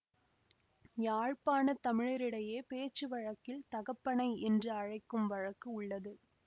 யாழ்ப்பாண தமிழரிடையே பேச்சு வழக்கில் தகப்பனை என்று அழைக்கும் வழக்கு உள்ளது